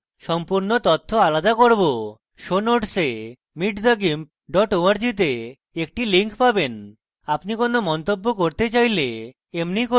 show notes meetthegimp @org তে একটি link পাবেন এবং আপনি কোনো মন্তব্য করতে file এমনি করুন